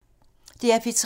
DR P3